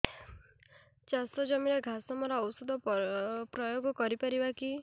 ଚାଷ ଜମିରେ ଘାସ ମରା ଔଷଧ ପ୍ରୟୋଗ କରି ପାରିବା କି